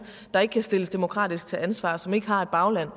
der ikke kan stilles demokratisk til ansvar som ikke har et bagland